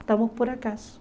Estamos por acaso.